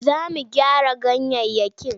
Za mu gyara ganyayyaki.